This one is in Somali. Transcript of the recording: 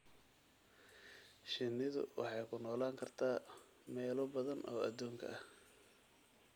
Shinnidu waxay ku noolaan kartaa meelo badan oo aduunka ah.